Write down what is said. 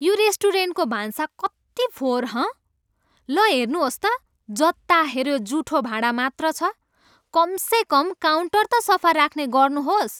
यो रेस्टुरेन्टको भान्सा कति फोहोर, हँ? ल हेर्नुहोस् त, जता हेऱ्यो जुठो भाँडा मात्र छ। कमसेकम काउन्टर त सफा राख्ने गर्नुहोस्!